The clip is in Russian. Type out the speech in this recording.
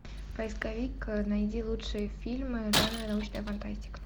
поисковик найди лучшие фильмы жанра научная фантастика